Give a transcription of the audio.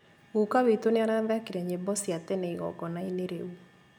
Guka witũ nĩarathakire nyĩmbo cia tene igongona-inĩ rĩu